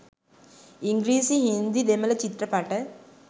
ඉංග්‍රීසි හින්දි දෙමළ චිත්‍රපට